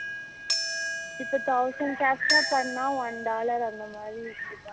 இப்போ thousand captcha பன்னூனா one dollar அந்த மாதிரி இருக்குதாம்